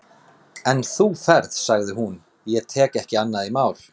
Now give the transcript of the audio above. En þú ferð, sagði hún, ég tek ekki annað í mál.